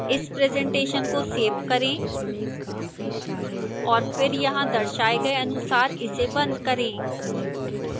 इस presentation को save करें और फिर यहां दर्शाए गए अनुसार इसे and करें